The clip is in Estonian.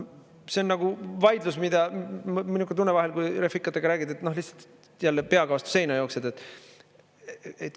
See on nagu vaidlus, mul on selline tunne vahel, kui refikatega räägid, et jälle peaga vastu seina jooksed.